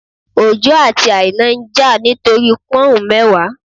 Ojo àti Aina ń jà nítorí Pọ́ùn mẹ́wàá